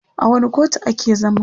a wani kotu a ke zaman?